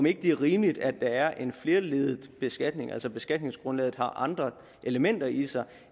ikke er rimeligt at der er en flerledet beskatning altså at beskatningsgrundlaget har andre elementer i sig